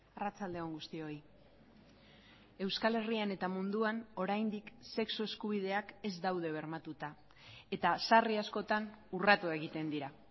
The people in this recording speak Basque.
arratsalde on guztioi euskal herrian eta munduan oraindik sexu eskubideak ez daude bermatuta eta sarri askotan urratu egiten dira